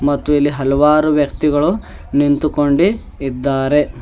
ಮತ್ತು ಇಲ್ಲಿ ಹಲವಾರು ವ್ಯಕ್ತಿಗಳು ನಿಂತುಕೊಂಡಿ ಇದ್ದಾರೆ.